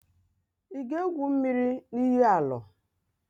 Ị ga-égwù mmiri na iyi Alọ?